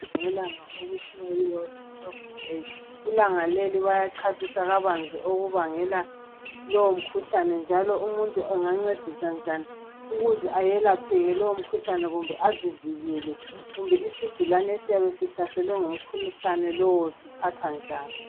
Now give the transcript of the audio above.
Ngelanga okuthiwa yi World Stroke Day. Ilanga leli bayachasisa kabanzi okubangela lowo mkhuhlane njalo umuntu engancediswa njani ukuze ayelapheke lowo mkhuhlane kumbe azivikele. Kumbe isigulane esiyabe sihlaselwe ngumkhuhlane lowo siphathwa njani.